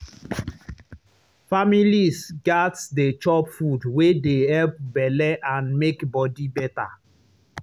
families gats dey chop food wey dey help belle and make body better.